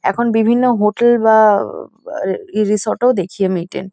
এখন বিভিন্ন হোটেল বা-আ-- রিসোর্ট -এ ও আমি দেখি এটা।